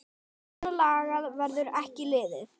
Svona lagað verður ekki liðið.